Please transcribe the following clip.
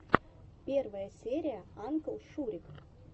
первая серия анклшурик